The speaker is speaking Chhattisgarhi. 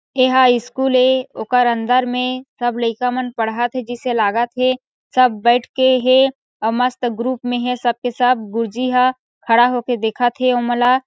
एहा स्कूल ए ओकर अंदर मे सब लइका मन पढ़त हे जइसे लागा थे सब बईथ के हे अउ मस्त ग्रुप मे हे सब के सब अउ गुरुजी ह खड़ा होके देखा थे ओमनला--